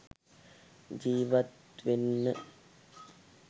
ජීවත් වෙන්න..